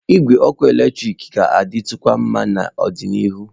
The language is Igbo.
Igwe ọkụ eletrik ga-adị tụkwa nma n'ọdịnihu.